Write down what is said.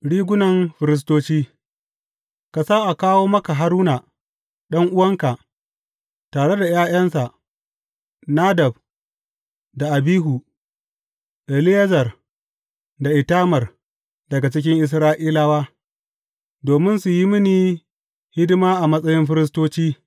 Rigunan firistoci Ka sa a kawo maka Haruna ɗan’uwanka, tare da ’ya’yansa Nadab da Abihu, Eleyazar da Itamar daga cikin Isra’ilawa, domin su yi mini hidima a matsayin firistoci.